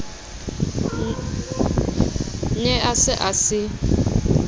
ne a se a se